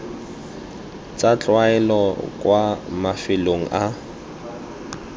tsa tlwaelo kwa mafelong a